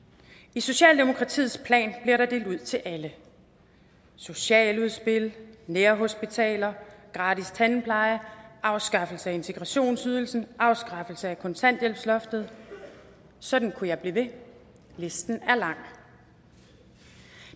i socialdemokratiets plan bliver der delt ud til alle socialudspil nærhospitaler gratis tandpleje afskaffelse af integrationsydelsen afskaffelse af kontanthjælpsloftet og sådan kunne jeg blive ved listen er lang